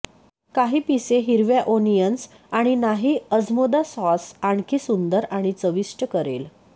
काही पिसे हिरव्या ओनियन्स आणि नाही अजमोदा सॉस आणखी सुंदर आणि चविष्ट करेल